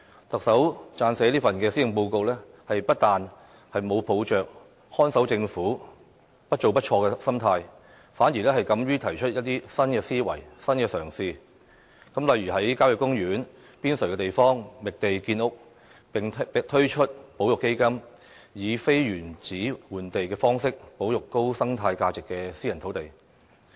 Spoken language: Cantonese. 特首撰寫這份施政報告，不但沒有抱着"看守政府"、"不做不錯"的心態，反而敢於提出一些新思維、新嘗試，例如在郊野公園邊陲地方覓地建屋，並推出保育基金、以"非原址換地"方式保育高生態價值的私人土地。